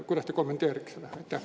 Kuidas te kommenteeriksite seda?